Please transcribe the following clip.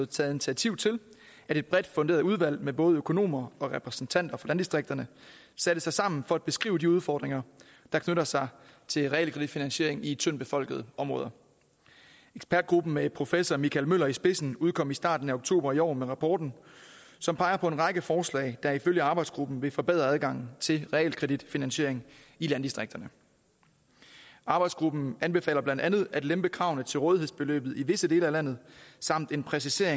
taget initiativ til at et bredt funderet udvalg med både økonomer og repræsentanter for landdistrikterne satte sig sammen for at beskrive de udfordringer der knytter sig til realkreditfinansiering i tyndtbefolkede områder ekspertgruppen med professor michael møller i spidsen udkom i starten af oktober i år med rapporten som peger på en række forslag der ifølge arbejdsgruppen vil forbedre adgangen til realkreditfinansiering i landdistrikterne arbejdsgruppen anbefaler blandt andet at lempe kravene til rådighedsbeløbet i visse dele af landet samt at præcisere